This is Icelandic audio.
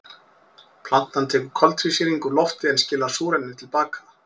Plantan tekur koltvísýring úr lofti en skilar súrefni til baka.